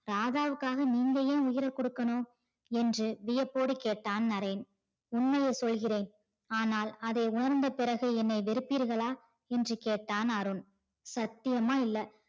ராதாவுக்காக நீங்க என் உயிர கொடுக்கணும் என்று வியப்போடு கேட்டார் நரேன். உண்மையை சொல்கிறேன் ஆனால் அதை உணர்ந்த பிறகு என்னை வெறுப்பிர்களா என்று கேட்டான் அருண். சத்தியமா இல்ல.